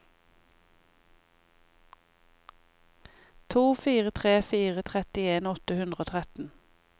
to fire tre fire trettien åtte hundre og tretten